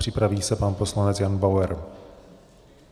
Připraví se pan poslanec Jan Bauer.